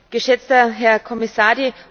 geschätzter Herr Kommissar!